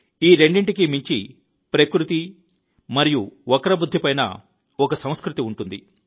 ఈ రెండింటికి మించి ప్రకృతి మరియు వక్రబుద్ధికి పైన ఒక సంస్కృతి ఉంటుంది